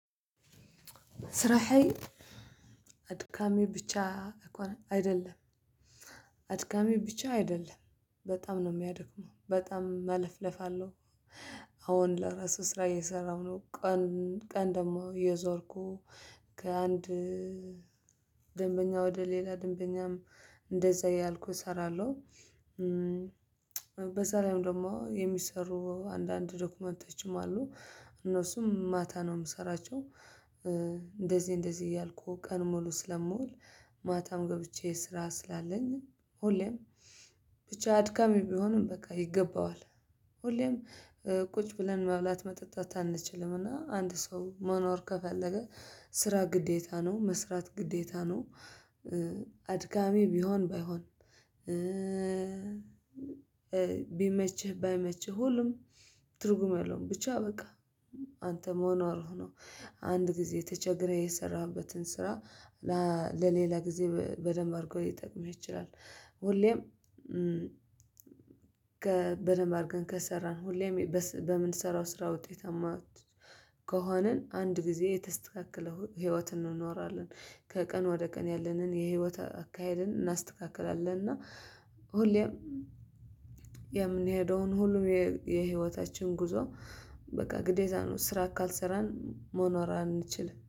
ስራህዬ አድካሚ ብቻ አይደለም አድካሚ ብቻ አይደለም በጣም ነው የሚያደክመው በጣም መለፍለፍ አለው። አሁን ለራሱ ስራ እየሰራሁ ነው ቀን ቀን ደግሞ እየዞርኩ ከአንድ ደንበኛ ወደ ሌላ ደንበኛም እንደዛ ያልኩት እሰራለሁ። በዛ ላይም ደግሞ የሚሰሩ አንዳንድ ዶክመንተችም አሉ እነሱም ማታ ነው የምሰራቸው። እንደዚህ እንደዚህ እያልኩ ቀን ሙሉ ስለምውል ማታም ገብቼ ስራ ስላለኝ ሁሌም ብቻ አድካሚ ቢሆንም በቃ ይገባዋል። ሁሌም ቁጭ ብለን መብላት መጠጣት አንችልም እና አንድ ሰው መኖር ከፈለገ ስራ ግዴታ ነው መስራት ግዴታ ነው። አድካሚ ቢሆን ባይሆን ቢመችህ ባይመችህ ሁሉም ትርጉም የለውም ብቻ በቃ አንተ መኖርህ ነው። አንድ ጊዜ ተቸግረህ የሰራህበትን ስራ ለሌላ ጊዜ በደንብ አድርገው ሊጠቅመህ ይችላል። ሁሌም በደንብ አድርገን ከሰራን ሁሌም በምንሰራው ስራ ውጤትአማ ከሆነን አንድ ጊዜ የተስተካከለ ህይወት እንኖራለን። ከቀን ወደ ቀን ያለንን የህይወት አካሄድን እናስተካክላለን እና ሁሌም የምንሄደውን ሁሉም የህይወታችን ጉዞ በቃ ግዴታ ነው ስራ ካልሰራን መኖር አንችልም